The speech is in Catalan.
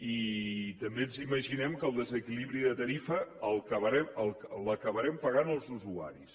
i també ens imaginem que el desequilibri de tarifa l’acabarem pagant els usuaris